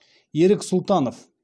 ерік сұлтанов